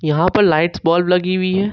यहां पर lights bulb लगी हुई है।